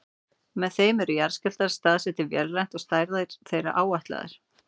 Með þeim eru jarðskjálftar staðsettir vélrænt og stærðir þeirra áætlaðar.